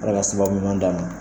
Ala ka sababu ɲuman d'a ma.